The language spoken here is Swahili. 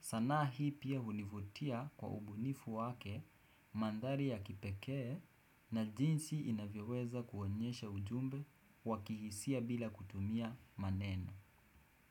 Sanaa hii pia hunivutia kwa ubunifu wake mandari ya kipekee na jinsi inavyoweza kuonyesha ujumbe wakihisia bila kutumia maneno.